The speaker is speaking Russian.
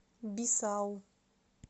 бисау